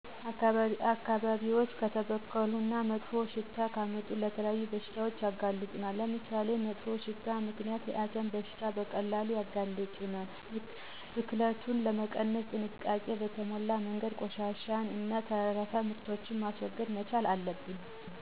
አካባቢዎች ከተበከሉ እና መጥፎ ሽታ ካመጡ ለተለያዩ በሽታዎች ያጋልጡናል። ለምሳሌ፦ በመጥፎ ሽታ ምክንያት ለአሰም በሽታ በቀላሉ እንጋለጣለን። ብክለትን ለመቀነስ ጥንቃቄ በተሞላበት መንገድ ቆሻሻን እና ተረፈምርቶችን ማስወገድ መቻል አለብን።